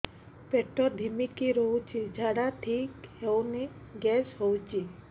ପେଟ ଢିମିକି ରହୁଛି ଝାଡା ଠିକ୍ ହଉନି ଗ୍ୟାସ ହଉଚି